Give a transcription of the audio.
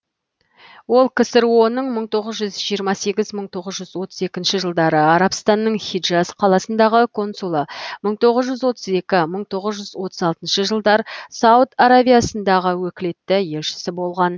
ол ксро ның мың тоғыз жүз жиырма сегіз мың тоғыз жүз отыз екінші жылдары арабстанның хиджаз қаласындағы консулы мың тоғыз жүз отыз екі мың тоғыз жүз отыз алтыншы жылдар сауд аравиясындағы өкілетті елшісі болған